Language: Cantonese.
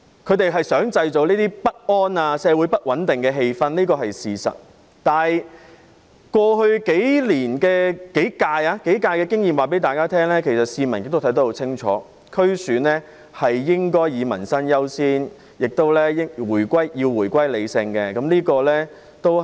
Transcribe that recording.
他們想製造不安和社會不穩定的氣氛是事實，但是，過去數屆區議會選舉的經驗告訴大家，其實市民看得很清楚，區議會選舉應以民生優先，而且要回歸理性。